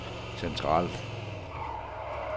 centralt